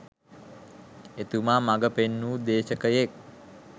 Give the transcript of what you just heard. එතුමා මග පෙන්වු දේශකයෙක්